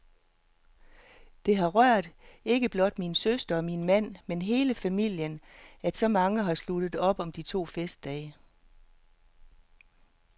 Det har rørt ikke blot min søster og min mand, men hele familien, at så mange har sluttet op om de to festdage.